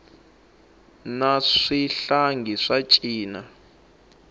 na swihlangi swa cina